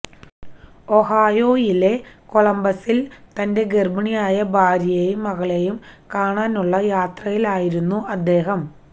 Ohio യിലെ കൊളംബസില് തന്റെ ഗര്ഭിണിയായ ഭാര്യയെയും മകളെയും കാണാനുള്ള യാത്രയിലായിരുന്നു അദ്ദേഹം